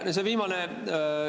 Aitäh!